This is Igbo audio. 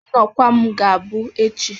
Nọkwa m ga-abụ echi